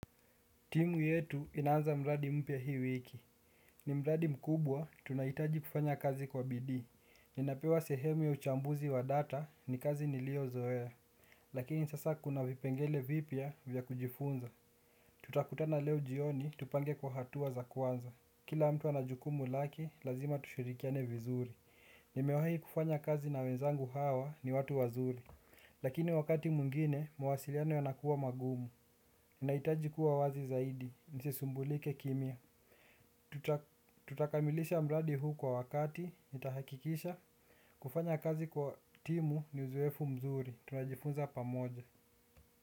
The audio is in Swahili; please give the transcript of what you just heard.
Timu yetu inaanza muradi mpya hii wiki. Ni mradi mkubwa tunahitaji kufanya kazi kwa bidii. Ninapewa sehemu ya uchambuzi wa data ni kazi niliozoea. Lakini sasa kuna vipengele vipya vya kujifunza. Tutakutana leo jioni tupange kwa hatua za kwanza. Kila mtu ana jukumu lake lazima tushirikiane vizuri. Nimewahi kufanya kazi na wenzangu hawa ni watu wazuri. Lakini wakati mwingine mawasiliano yanakuwa magumu. Nahitaji kuwa wazi zaidi, nisisumbulike kimya. Tutakamilisha mradi huu kwa wakati, nitahakikisha. Kufanya kazi kwa timu ni uzoefu mzuri, tunajifunza pamoja.